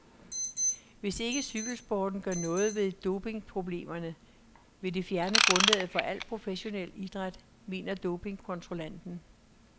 Hvis ikke cykelsporten gør noget ved dopingproblemerne, vil det fjerne grundlaget for al professionel idræt, mener dopingkontrollanten.